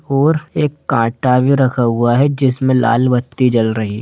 और एक कांटा भी रखा हुआ है जिसमें लाल बत्ती जल रही।